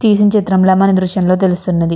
తీసిన చిత్రం లా మన దృశ్యం లో తెలుస్తున్నది.